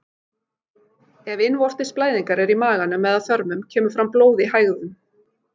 Ef innvortis blæðingar eru í maganum eða þörmum kemur fram blóð í hægðum.